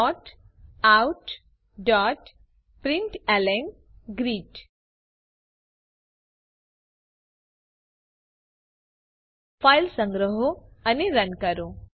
systemoutપ્રિન્ટલન file સંગ્રહો અને run કરો